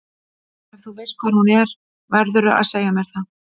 Ef þú veist hvar hún er verðurðu að segja mér það.